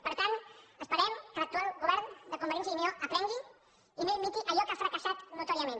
per tant esperem que l’actual govern de convergència i unió aprengui i no imiti allò que ha fracassat notòriament